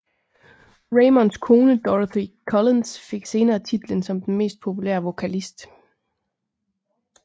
Raymonds kone Dorothy Collins fik senere titlen som den mest populære vokalist